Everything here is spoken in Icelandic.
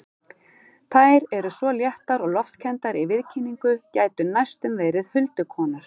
Þær eru svo léttar og loftkenndar í viðkynningu, gætu næstum verið huldukonur.